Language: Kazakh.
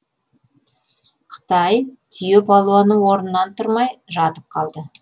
қытай түйе палуаны орнынан тұрмай жатып қалды